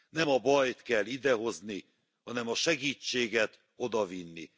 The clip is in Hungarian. Nem a bajt kell idehozni, hanem a segítséget odavinni.